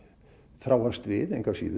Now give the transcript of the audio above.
þráast við